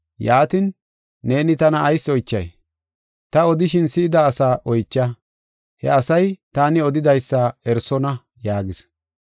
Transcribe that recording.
Yaatin, neeni tana ayis oychay? Ta odishin si7ida asaa oycha. He asay taani odidaysa eroosona” yaagis.